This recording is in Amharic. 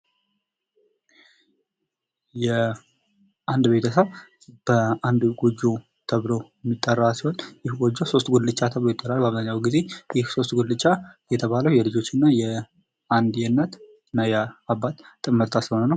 የአንድ ቤተሰብ በአንድ ጎጆ ተብሎ የሚጠራ ሲሆን ይህ የጎጆ ሶስት ጉልቻ ተብሎ ይጠራል። በአብዛኛውን ጊዜ ይህ ሶስት ጉልቻኢየሱስ ጉልቻ የተባለው የልጆችና አንድ የእናት እና የአባት ጥምርታ ስለሆነ ነው።